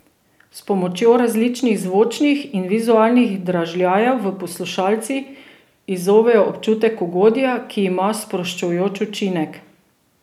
S pomočjo različnih zvočnih in vizualnih dražljajev v poslušalcih izzovejo občutek ugodja, ki ima sproščujoč učinek.